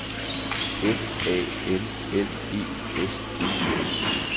F A L L E S E N